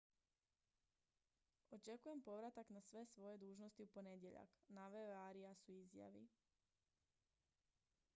očekujem povratak na sve svoje dužnosti u ponedjeljak naveo je arias u izjavi